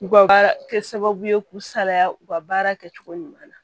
U ka kɛ sababu ye k'u salaya u ka baara kɛcogo ɲuman na